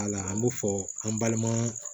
Wala an b'o fɔ an balima